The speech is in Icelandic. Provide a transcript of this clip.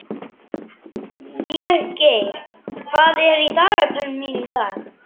Végeir, hvað er í dagatalinu mínu í dag?